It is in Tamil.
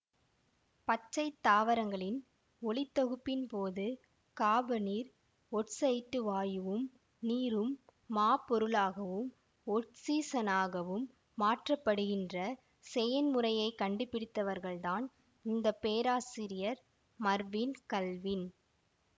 பச்சை தாவரங்களில் ஒளித்தொகுப்பின்போது காபனீர் ஒட்சைட்டு வாயுவும் நீரும் மாப்பொருளாகவும் ஒட்சிசனாகவும் மாற்றப்படுகின்ற செயன்முறையைக் கண்டுபிடித்தவர்தான் இந்த பேராசிரியர் மர்வின் கல்வின்